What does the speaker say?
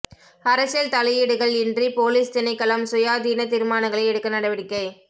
அரசியல் தலையீடுகள் இன்றி பொலிஸ் திணைக்களம் சுயாதீன தீர்மானங்களை எடுக்க நடவடிக்கை